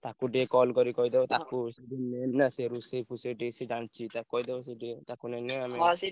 ତାକୁ ଟିକେ call କରି କହିଦବ ତାକୁ ସିଏ ଟିକେ main ନା ସିଏ ରୋଷେଇ ଫୋସେଇ ସିଏ ଟିକେ ଜାଣିଚି। ତାକୁ କହିଦବ ସିଏ ଟିକେ ତାକୁ ନେଲେ